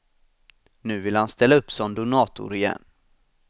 Nu vill han ställa upp som donator igen.